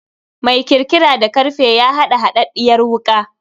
Mai kirkira da karfe ya haɗa haɗaɗɗiyar wuka.